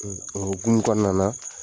o hukumu kɔnɔna na